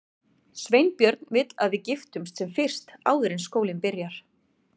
Sveinbjörn vill að við giftumst sem fyrst, áður en skólinn byrjar.